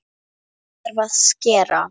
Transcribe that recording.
Þá þarf að skera.